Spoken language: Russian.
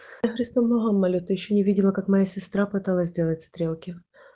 я христом богом молю ты ещё не видела как моя сестра пыталась сделать стрелки